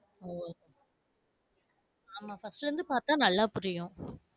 ஓ ஆமா first ல இருந்து பாத்தா நல்லா புரியும்.